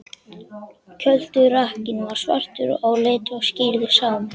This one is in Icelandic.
Kjölturakkinn var svartur á lit og skírður Sámur.